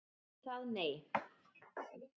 Ekki það, nei?